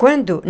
Quando?